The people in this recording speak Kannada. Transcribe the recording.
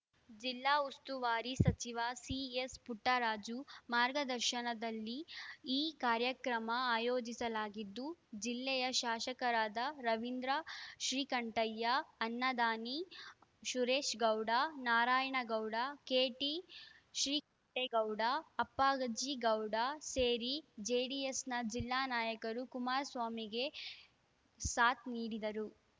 ಜಿಲ್ಲಾ ಉಸ್ತುವಾರಿ ಸಚಿವ ಸಿಎಸ್‌ಪುಟ್ಟರಾಜು ಮಾರ್ಗದರ್ಶನದಲ್ಲಿ ಈ ಕಾರ್ಯಕ್ರಮ ಆಯೋಜಿಸಲಾಗಿದ್ದು ಜಿಲ್ಲೆಯ ಶಾಸಕರಾದ ರವಿಂದ್ರ ಶ್ರೀಕಂಠಯ್ಯ ಅನ್ನದಾನಿ ಸುರೇಶ್‌ ಗೌಡ ನಾರಾಯಣಗೌಡ ಕೆಟಿಶ್ರೀಕಂಠೇಗೌಡ ಅಪ್ಪಾಜಿಗೌಡ ಸೇರಿ ಜೆಡಿಎಸ್‌ನ ಜಿಲ್ಲಾ ನಾಯಕರು ಕುಮಾರಸ್ವಾಮಿಗೆ ಸಾಥ್‌ ನೀಡಿದರು